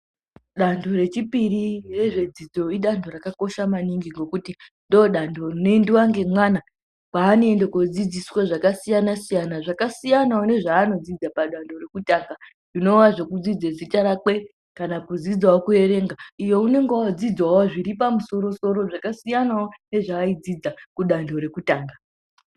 Danho rechipiri rezvedzidzo idanho rakakosha maningi ngekuti ndodanho rinoendiwa ngemwana kwaanoende koodzidziswa zvakasiyana-siyana, zvakasiyanawo nezvaanodzidza padanho rekutanga zvinova zvekudzidza zita rakwe, kana kudzidzawo kuerenga, iyo unonga oodzidzawo zviripamusoro-soro zvakasiyanawo nezvaaidzidza kudanho rekutanga.